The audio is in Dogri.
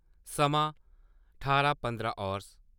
समां ठारां पंदरां हावर्स